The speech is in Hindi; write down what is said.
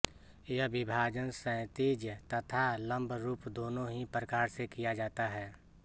यह विभाजन क्षैतिज तथा लम्ब रूप दोनों ही प्रकार से किया जाता है